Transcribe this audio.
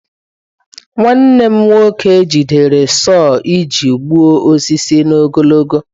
Nwanne m nwoke jidere sau iji gbuo osisi n'ogologo.